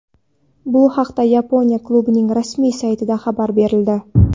Bu haqda Yaponiya klubining rasmiy saytida xabar berildi .